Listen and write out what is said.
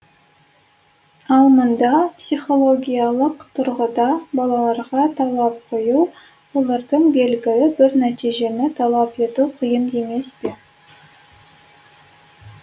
ал мұнда психологиялық тұрғыда балаларға талап қою олардан белгілі бір нәтижені талап ету қиын емес пе